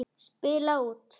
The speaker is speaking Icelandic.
Spila út.